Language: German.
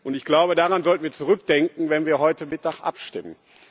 Ich glaube, daran sollten wir zurückdenken, wenn wir heute Mittag abstimmen.